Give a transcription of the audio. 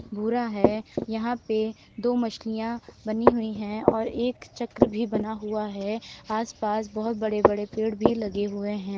भूरा है यहाँ पे दो मछलियाँ बनी हुई हैं और एक चक्र भी बना हुआ है। आस-पास बोहोत बड़े बड़े पेड़ लगे हुए हैं।